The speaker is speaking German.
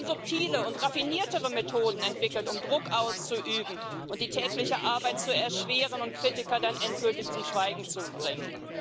Sie haben subtile und raffiniertere Methoden entwickelt, um Druck auszuüben, die tägliche Arbeit zu erschweren und Kritiker dann endgültig zum Schweigen zu bringen.